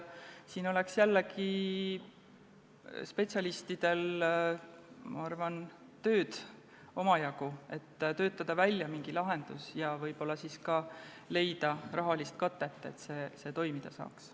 Siin on jällegi spetsialistidel, ma arvan, omajagu tööd, et töötada välja mingi lahendus ja võib-olla leida ka rahalist katet, et see toimuda saaks.